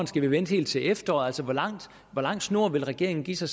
skal vente helt til efteråret hvor lang snor vil regeringen give sig